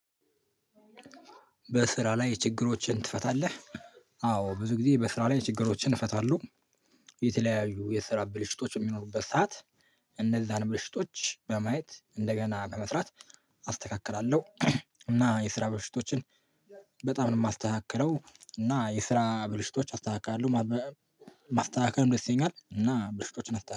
በስራ ላይ ችግሮችን ትፈታለህ? አዎ ብዙ ጊዜ በስራ ላይ ችግሮችን እፈታለሁ። የተለያዩ የስራ ብልሽቶች በሚኖሩበት ሰዓት እነዛን ብልሽቶች በማየት እንደገና በመስራት አስተካክላለሁ። እና የስራ ብልሽቶችን በጣም ነው ማስተካክለው እና የስራ ብልሽቶች አስተካክላለሁ። ማበ ማስተካከልም ደስ ይለኛል እና ብልሽቶችን አስተ